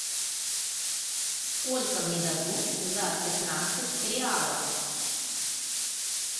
сколько мне дадут за пятнадцать реалов